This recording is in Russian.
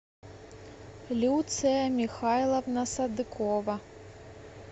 люция михайловна садыкова